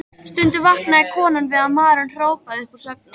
Stundum vaknaði konan við að maðurinn hrópaði upp úr svefni: